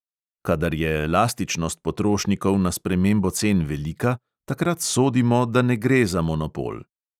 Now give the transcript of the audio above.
Kadar je elastičnost potrošnikov na spremembo cen velika, takrat sodimo, da ne gre za monopol.